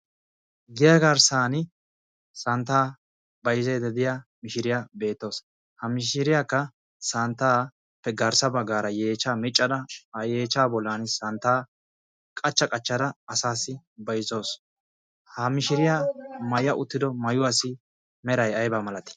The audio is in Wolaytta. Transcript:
giya garssan santtaa bayzaydda diya mishiriyaa beettawusu ha mishiriyaakka santtaappe garssa baggaara yeechaa miccada a yeehcha bollan santtaa qachcha qachchada asaassi bayzzawus ha mishiriyaa maya uttido mayuwa assi meray aibaa malati